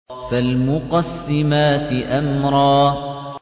فَالْمُقَسِّمَاتِ أَمْرًا